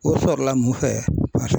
O sɔrɔla mun fɛ